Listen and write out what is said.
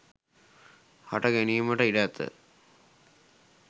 හට ගැනීමට ඉඩ ඇත